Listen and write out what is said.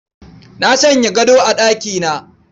Na sanya gado a ɗakina